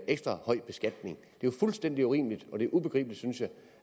ekstra høj beskatning det jo fuldstændig urimeligt og det er ubegribeligt synes jeg